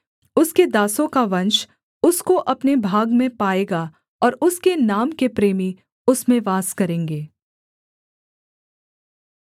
उसके दासों को वंश उसको अपने भाग में पाएगा और उसके नाम के प्रेमी उसमें वास करेंगे